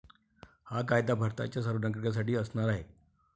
हा कायदा भारताच्या सर्व नागरिकांसाठी असणार आहे